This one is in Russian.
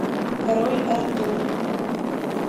король артур